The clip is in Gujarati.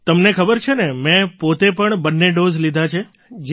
તમને ખબર છે ને મેં પોતે પણ બંને ડૉઝ લઈ લીધા છે